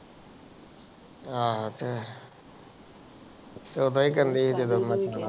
ਏਹੋ ਤੇ ਸ਼ੋਭਾ ਹੀ ਦਾਲਿ ਜਿਹੜੀ ਮੱਤ ਮਾਰਦਿ